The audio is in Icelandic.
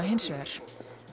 hins vegar